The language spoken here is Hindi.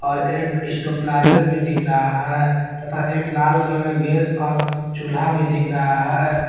और एक स्टेबलाइजर भी दिख रहा है तथा एक लाल कलर का गैस और चूल्हा भी दिख रहा है।